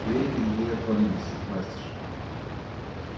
двери перед нею отворились настежь